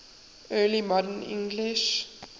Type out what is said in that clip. early modern english